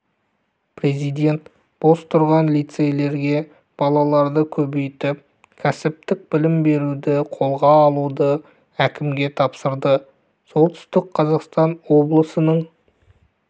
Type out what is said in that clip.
президент бос тұрған лицейлерге балаларды көбейтіп кәсіптік білім беруді қолға алуды әкімге тапсырды солтүстік қазақстан облысының